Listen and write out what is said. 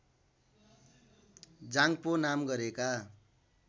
जाङपो नाम गरेका